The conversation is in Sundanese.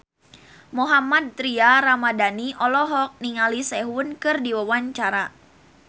Mohammad Tria Ramadhani olohok ningali Sehun keur diwawancara